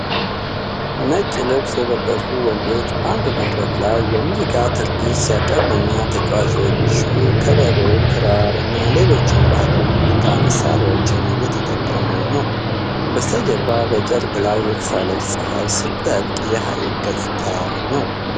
ነጭ ልብስ የለበሱ ወንዶች ባንድ በመድረክ ላይ የሙዚቃ ትርዒት ሲያቀርቡ እና ተጫዋቾቹ ከበሮ፣ ክራር እና ሌሎች ባህላዊ የሙዚቃ መሳሪያዎችን እየተጠቀሙ ነው። ከበስተጀርባ በጨርቅ ላይ የተሳለች ፀሐይ ስትጠልቅ የሐይቅ ገጽታ ነው።